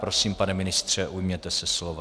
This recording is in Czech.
Prosím, pane ministře, ujměte se slova.